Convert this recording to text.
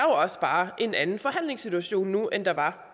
også bare en anden forhandlingssituation nu end der var